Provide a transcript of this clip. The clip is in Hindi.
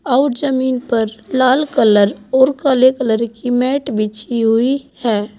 और जमीन पर लाल कलर और काले कलर की मैट बिछी हुई है।